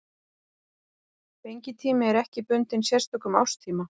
Fengitími er ekki bundinn sérstökum árstíma.